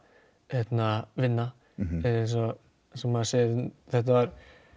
vinna eins og maður segir þetta var